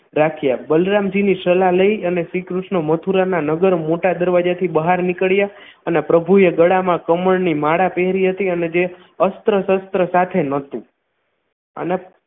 રાખ્યા બલરામજીની સલાહ લઈ અને શ્રીકૃષ્ણ મથુરાના નગર મોટા દરવાજા થી બહાર નીકળ્યા અને પ્રભુએ ગળામાં કમળની માળા પહેરી હતી અને જે અસ્ત્ર-શસ્ત્ર સાથે નહોતું અને